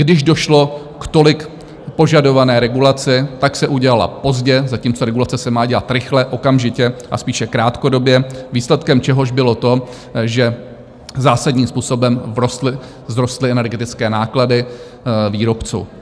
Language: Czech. Když došlo k tolik požadované regulaci, tak se udělala pozdě - zatímco regulace se má dělat rychle, okamžitě a spíše krátkodobě - výsledkem čehož bylo to, že zásadním způsobem vzrostly energetické náklady výrobců.